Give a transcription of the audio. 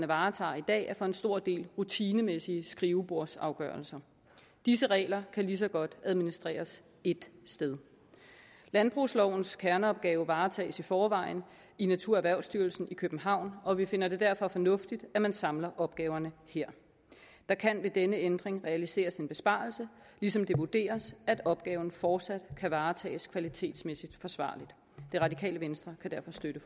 varetager i dag er for en stor dels rutinemæssige skrivebordsafgørelser disse regler kan lige så godt administreres ét sted landbrugslovens kerneopgave varetages i forvejen i naturerhvervsstyrelsen i københavn og vi finder det derfor fornuftigt at man samler opgaverne her der kan ved denne ændring realiseres en besparelse ligesom det vurderes at opgaven fortsat kan varetages kvalitetsmæssig forsvarligt det radikale venstre kan derfor støtte